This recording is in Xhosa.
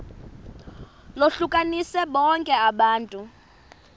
lohlukanise bonke abantu